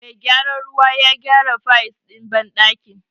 Mai gyaran ruwan ya gyara fayis ɗin banɗakin.